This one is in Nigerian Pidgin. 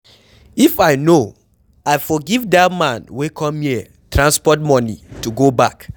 If I no I for give dat man wey come here transport money to go back.